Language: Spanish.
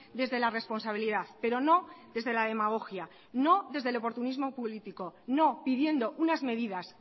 desde la responsabilidad pero no desde la demagogia no desde el oportunismo político no pidiendo unas medidas